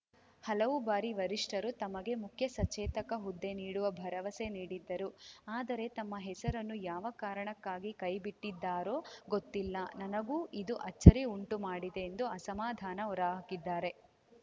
ಹಲವು ಬಾರಿ ವರಿಷ್ಠರು ತಮಗೆ ಮುಖ್ಯ ಸಚೇತಕ ಹುದ್ದೆ ನೀಡುವ ಭರವಸೆ ನೀಡಿದ್ದರು ಆದರೆ ತಮ್ಮ ಹೆಸರನ್ನು ಯಾವ ಕಾರಣಕ್ಕಾಗಿ ಕೈಬಿಟ್ಟಿದ್ದಾರೋ ಗೊತ್ತಿಲ್ಲ ನನಗೂ ಇದು ಅಚ್ಚರಿ ಉಂಟು ಮಾಡಿದೆ ಎಂದು ಅಸಮಾಧಾನ ಹೊರಹಾಕಿದ್ದಾರೆ